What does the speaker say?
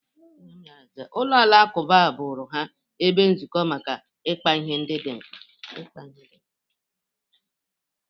Ụlọ alakụba bụrụ ha ebe nzukọ maka ịkpa ihe dị mkpa.